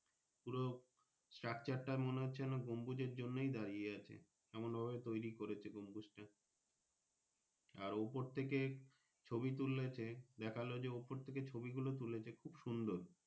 পুরো structure টা মনে হচ্ছে গমভুজ এর জন্যই দাঁড়িয়ে আছে এমন ভাবে তৌরি করেছে গমভুজটা আর ওপর থেকে ছবি তুলেছে দেখালো যে ওপর থেকে ছবি তুলেছে খুব সুন্দর।